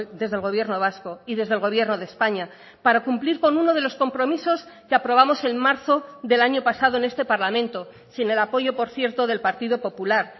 desde el gobierno vasco y desde el gobierno de españa para cumplir con uno de los compromisos que aprobamos en marzo del año pasado en este parlamento sin el apoyo por cierto del partido popular